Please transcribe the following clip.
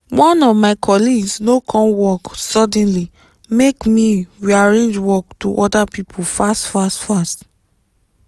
one of my colleagues no come work suddenly make me rearrange work to other people fast fast fast